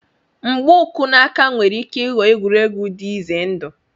Mgba uku na aka nwere ike ịghọ egwuregwu dị ize ndụ.